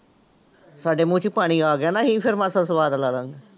ਸਾਡੇ ਮੂੰਹ ਚ ਪਾਣੀ ਆ ਗਿਆ ਨਾ ਸਵਾਦ ਲੈ